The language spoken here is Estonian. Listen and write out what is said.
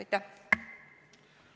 Aitäh!